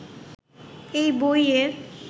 এই বইয়ের